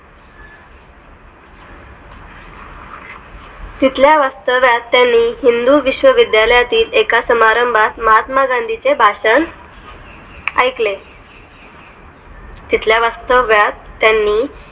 तिथल्या वास्तव्यात त्यांनी हिंदू विश्व्विद्यालयातील एका समारंभात महात्मा गांधींचे भाषण ऐकले तिथल्या वास्तव्यात त्यांनी